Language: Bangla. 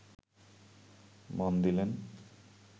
মন দিলেন